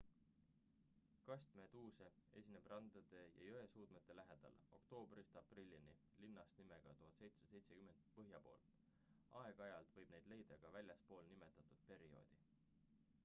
kastmeduuse esineb randade ja jõesuudmete lähedal oktoobrist aprillini linnast nimega 1770 põhja pool aeg-ajalt võib neid leida ka väljaspool nimetatud perioodi